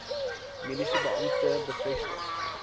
mediese beampte bevestig